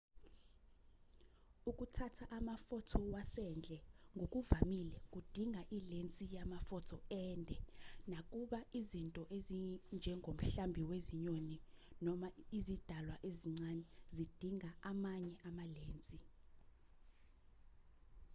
ukuthatha amafotho wasendle ngokuvamile kudinga ilensi yamafotho ende nakuba izinto ezinjengomhlambi wezinyoni noma izidalwa ezincane zidinga amanye amalensi